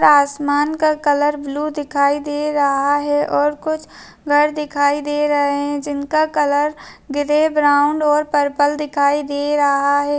पूरा आसमान का कलर ब्लू दिखाई दे रहा है और कुछ घर दिखाई दे रहे है जिनका कलर ग्रे ब्राउन और पर्पल दिखाई दे रहा है।